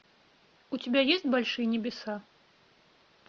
у тебя есть большие небеса